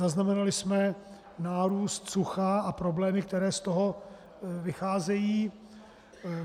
Zaznamenali jsme nárůst sucha a problémy, které z toho vycházejí.